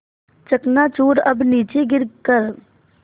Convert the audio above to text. चकनाचूर अब नीचे गिर कर